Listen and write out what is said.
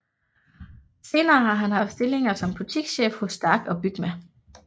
Senere har han haft stillinger som butikschef hos STARK og Bygma